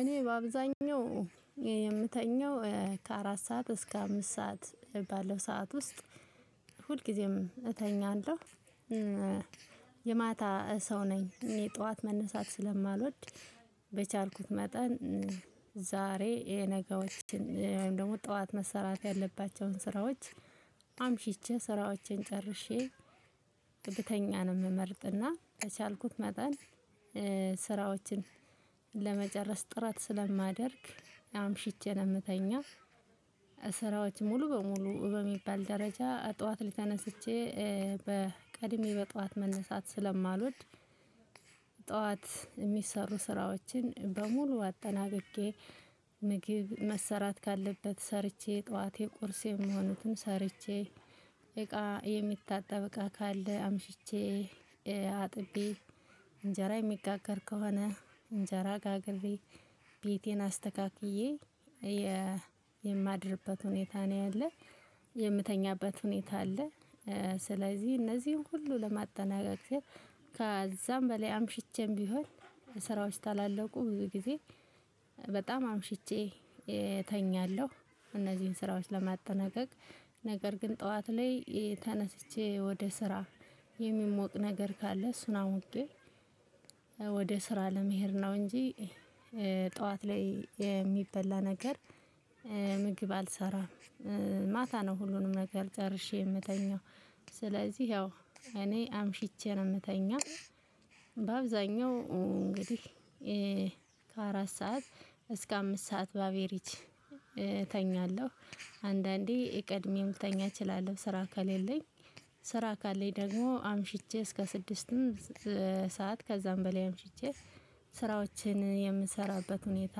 እኔ በአብዛኛው የምተኛው ከአራት ሰዓት እስከ አምስት ሰዓት ባለው ሰዓት ውስጥ ሁልጊዜም እተኛለሁ። የማታ ሰው ነኝ እኔ ጠዋት መነሳት ስለማልወድ። በቻልኩት መጠን ዛሬ የነገዎችን ወይም ደግሞ ጠዋት መሰራት ያለባቸውን ስራዎች አምሽቼ ስራዎቼን ጨርሼ ብተኛ ነው የምመርጥ። እና በቻልኩት መጠን ስራዎችን ለመጨረስ ጥረት ስለማደርግ አምሽቼ ነው የምተኛ። ስራዎች ሙሉ በሙሉ በሚባል ደረጃ ጠዋት ላይ ተነስቼ በቀድሜ በጠዋት መነሳት ስለማልወድ። ጠዋት የሚሰሩ ስራዎችን በሙሉ አጠናቅቄ ምግብ መሰራት ካለበት ሰርቼ ጠዋቴ ቁርስ የሚሆኑትን ሰርቼ እቃ የሚታጠብ እቃ ካለ አምሽቼ አጥቤ እንጀራ የሚጋገር ከሆነ እንጀራ ጋግሬ ቤቴን አስተካክዬ። የማድርበት ሁኔታ ነው ያለ የምተኛበት ሁኔታ አለ። ስለዚህ እነዚህን ሁሉ ለማጠናቀቅ ስል ከዛም በላይ አምሽቼም ቢሆን ስራዎች ታላለቁ ብዙ ጊዜ በጣም አምሽቼ እተኛለሁ። እነዚህን ስራዎች ለማጠናቀቅ ነገር ግን ጠዋት ላይ ተነስቼ ወደ ስራ የሚሞቅ ነገር ካለ እሱን አሙቄ ወደ ስራ ለመሄድ ነው እንጂ ጠዋት ላይ የሚበላ ነገር ምግብ አልሰራም። ማታ ነው ሁሉንም ነገር ጨርሼ የምተኛው። ስለዚህ ያው እኔ አምሽቼ ነው የምተኛው። በአብዛኛው እንግዲህ ከአራት ሰዓት እስከ አምስት ሰዓት በአቬሬጅ እተኛለሁ። አንዳንዴ ቀድሜም ልተኛ እችላለሁ ስራ ከሌለኝ። ስራ ካለኝ ደግሞ አምሽቼ እስከ ስድስትም ሰዓት ከዛም በላይ አምሽቼ ስራዎችን የምሰራበት ሁኔታ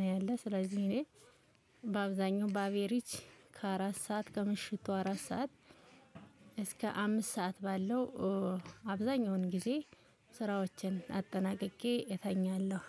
ነው ያለ። ስለዚህ እኔ በአብዛኛው በአቬሬጅ ከአራት ሰዓት ከምሽቱ አራት ሰዓት እስከ አምስት ሰዓት ባለው አብዛኛውን ጊዜ ስራዎቼን አጠናቅቄ እተኛለሁ።